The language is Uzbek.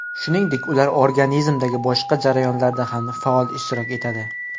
Shuningdek, ular organizmdagi boshqa jarayonlarda ham faol ishtirok etadi.